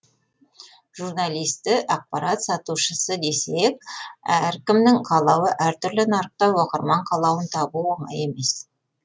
журналисті ақпарат сатушысы десек әркімнің қалауы әртүрлі нарықта оқырман қалауын табу оңай емес